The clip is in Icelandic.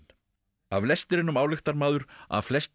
af lestrinum ályktar maður að flestir